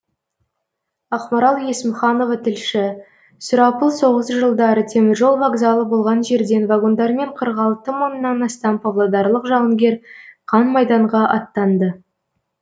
ақмарал есімханова тілші сұрапыл соғыс жылдары теміржол вокзалы болған жерден вагондармен қырық алты мыңнан астам павлодарлық жауынгер қан майданға аттанды